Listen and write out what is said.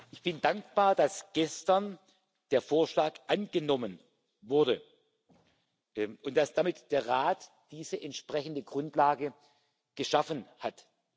Ich bin dankbar, dass gestern der Vorschlag angenommen wurde und dass damit der Rat diese entsprechende Grundlage geschaffen hat.